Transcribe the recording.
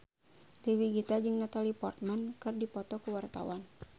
Dewi Gita jeung Natalie Portman keur dipoto ku wartawan